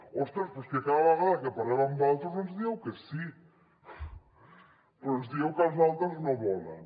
ostres però és que cada vegada que parlem amb valtros ens dieu que sí però ens dieu que els altres no volen